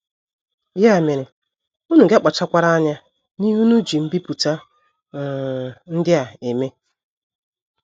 Ya mere unu ga - akpachakwara anya n’ihe unu ji mbipụta um ndị a eme. ”